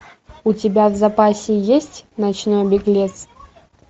у тебя в запасе есть ночной беглец